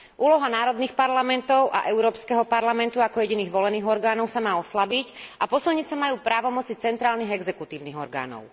Úloha národných parlamentov a Európskeho parlamentu ako jediných volených orgánov sa má oslabiť a posilniť sa majú právomoci centrálnych exekutívnych orgánov.